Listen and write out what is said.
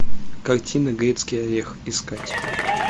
картина грецкий орех искать